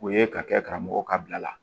O ye ka kɛ karamɔgɔ ka bila la